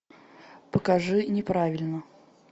покажи неправильно